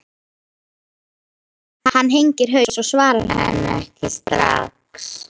Hann hengir haus og svarar henni ekki strax.